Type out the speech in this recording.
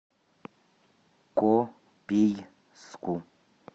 копейску